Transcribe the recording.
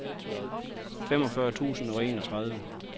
femogfyrre tusind og enogtredive